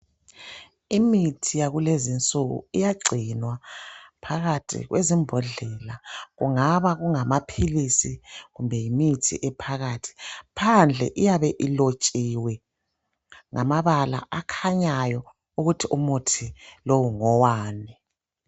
Imithi yakulezi nsuku iyagcinwa phakathi kwezimbhodlela kungaba kungamaphilizi kumbe yimithi ephakathi, phandle iyabe ilotshiwe ngamabala akhanyayo ukuthi umuthi lo ngowani.